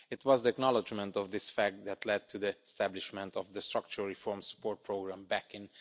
It was the acknowledgement of this fact that led to the establishment of the Structural Reform Support Programme back in